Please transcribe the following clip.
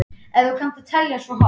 Ef þú kannt að telja svo hátt.